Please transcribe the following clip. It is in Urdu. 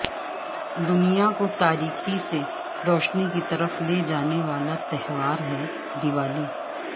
دنیا کو تاریکی سے روشنی کی طرف لے جانےوالا تہوار ہے دیوالی